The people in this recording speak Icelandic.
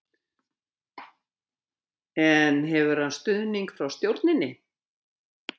En hefur hann stuðning frá stjórninni?